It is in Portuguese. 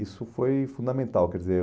Isso foi fundamental, quer dizer